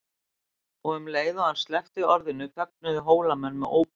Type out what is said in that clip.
Og um leið og hann sleppti orðinu fögnuðu Hólamenn með ópi.